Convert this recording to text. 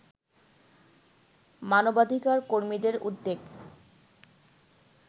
মানবাধিকার কর্মীদের উদ্বেগ